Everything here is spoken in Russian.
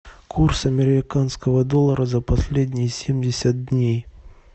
курс американского доллара за последние семьдесят дней